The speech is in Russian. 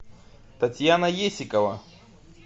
татьяна есикова